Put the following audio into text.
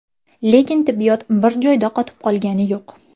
Lekin tibbiyot bir joyda qotib qolgani yo‘q.